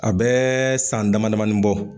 A bɛɛɛ san damadamanin bɔ.